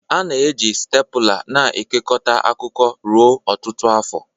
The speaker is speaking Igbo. A na-eji stepula na-ekekọta akwụkwọ ruo ọtụtụ afọ.